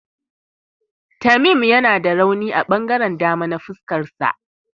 Tamim yana da rauni a ɓangaren dama na fuskarsa.